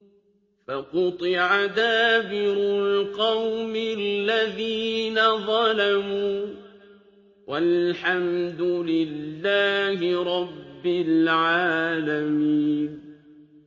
فَقُطِعَ دَابِرُ الْقَوْمِ الَّذِينَ ظَلَمُوا ۚ وَالْحَمْدُ لِلَّهِ رَبِّ الْعَالَمِينَ